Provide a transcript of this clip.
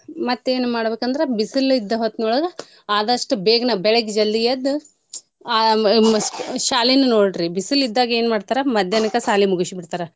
ಮತ್ತೆ ಏನ್ ಮಾಡ್ಬೇಕ್ ಅಂದ್ರ ಬಿಸಿಲ್ ಇದ್ಡ ಹೊತ್ನೊಳಗ ಆದಸ್ಟು ಬೇಗನೆ ಬೆಳಿಗ್ಗೆ ಜಲ್ದಿ ಎದ್ದು ಆ ಶಾಲಿನ ನೋಡ್ರಿ ಬಿಸಿಲ್ ಇದ್ದಾಗ ಏನ್ ಮಾಡ್ತರಾ ಮದ್ಯಾನ್ಕ ಸಾಲಿ ಮೂಗ್ಸಿ ಬಿಡ್ತಾರಾ.